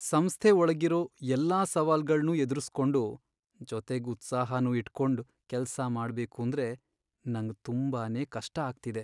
ಸಂಸ್ಥೆ ಒಳ್ಗಿರೋ ಎಲ್ಲಾ ಸವಾಲ್ಗಳ್ನೂ ಎದ್ರುಸ್ಕೊಂಡು, ಜೊತೆಗ್ ಉತ್ಸಾಹನೂ ಇಟ್ಕೊಂಡ್ ಕೆಲ್ಸ ಮಾಡ್ಬೇಕೂಂದ್ರೆ ನಂಗ್ ತುಂಬಾನೇ ಕಷ್ಟ ಅಗ್ತಿದೆ.